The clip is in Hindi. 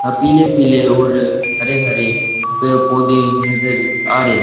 आ पिले पिले ओर हरे हरे पेड पोधै नजर आ रहे--